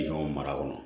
mara kɔnɔ